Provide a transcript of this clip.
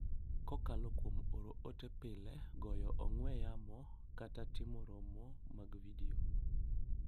Kokalo kuom oro ote pile, goyo ong'we yamo, kata timo romo mag vidio,